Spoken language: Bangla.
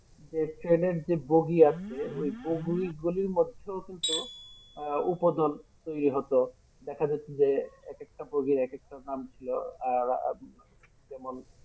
যে ট্রেনের যে বগি আছে ওই বগি গুলির মধ্যেও কিন্তু আহ উপদল তৈরী হতো দেখা যেত যে এক একটা বগির এক একটা নাম ছিল আর আহ যেমন